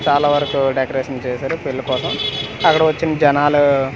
చాలావరకు డెకరేషన్ చేశారు పెళ్లి కోసం అక్కడ వచ్చిన జనాలు.